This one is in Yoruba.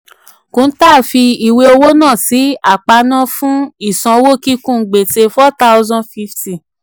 kuntal fi ìwé owó náà sí aparna fún ìsanwó kíkún gbèsè forty fifty